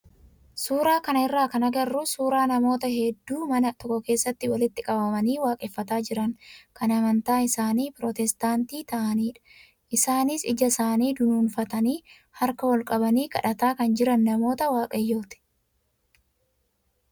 suuraa kanarraa kan agarru suuraa namoota hedduu mana tokko keessatti walitti qabamanii waaqeffataa jiran kan amantaan isaanii pirootestaantii ta'anidha. Isaanis ija isaanii dunuunfatanii harka ol qabanii kadhataa kan jiran namoota waaqayyooti.